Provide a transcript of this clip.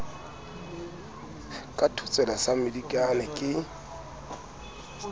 ka thotsela sa mmedikane ke